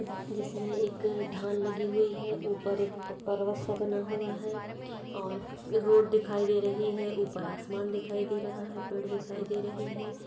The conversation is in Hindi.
जिसमे एक धान लगी हुई है ऊपर एक प-- पर्वत सा बना हुआ है और रोड दिखाई दे रही है ऊपर आसमान दिखाई दे रहा है पेड़ दिखाई दे रहे है।